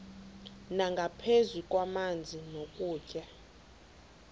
nangaphezu kwamanzi nokutya